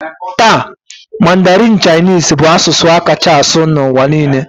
Taa, Mandarin Chinese bụ asụsụ a kacha asụ n'ụwa niile